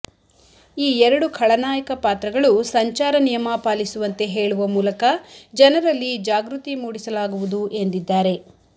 ಈ ಎರಡು ಖಳನಾಯಕ ಪಾತ್ರಗಳು ಸಂಚಾರ ನಿಯಮ ಪಾಲಿಸುವಂತೆ ಹೇಳುವ ಮೂಲಕ ಜನರಲ್ಲಿ ಜಾಗೃತಿ ಮೂಡಿಸಲಾಗುವುದು ಎಂದಿದ್ದಾರೆ